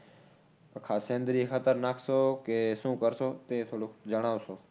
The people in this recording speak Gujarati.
નાખશો કે શું કરશો તે થોડુક જણાવશો